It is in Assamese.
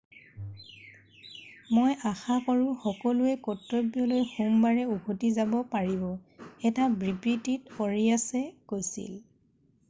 "মই আশা কৰোঁ সকলোৱে কৰ্তব্যলৈ সোমবাৰে উভতি যাব পাৰিব,""এটা বিবৃতিত আৰিয়াছে কৈছিল। "